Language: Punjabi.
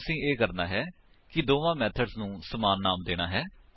ਹੁਣ ਅਸੀਂ ਇਹ ਕਰਨਾ ਹੈ ਕਿ ਦੋਵਾਂ ਮੇਥਡਸ ਨੂੰ ਸਮਾਨ ਨਾਮ ਦੇਣਾ ਹੈ